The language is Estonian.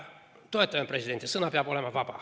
Toetame presidenti, et sõna peab olema vaba.